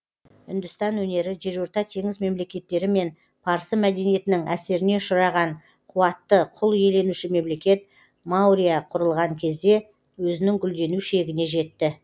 үндістан өнері жерорта теңіз мемлекеттері мен парсы мәдениетінің әсеріне ұшыраған қуатты құл иеленуші мемлекет маурья құрылған кезде өзінің гүлдену шегіне жетті